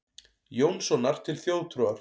Jónssonar til þjóðtrúar.